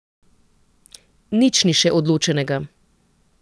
Nič ni še odločenega.